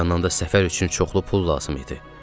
Bir yandan da səfər üçün çoxlu pul lazım idi.